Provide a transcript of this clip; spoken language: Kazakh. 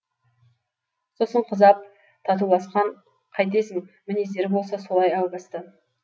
сосын қыз ап татуласқан қайтесің мінездері болса солай әу бастан